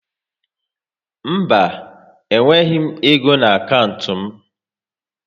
Mba, e nweghịzi m égo n' akantị m